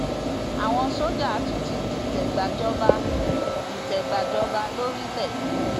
àwọn sójà tún ti dìtẹ gbàjọba dìtẹ gbàjọba lórílẹ